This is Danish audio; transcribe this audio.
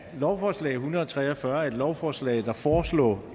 lovforslag en hundrede og tre og fyrre er et lovforslag der foreslår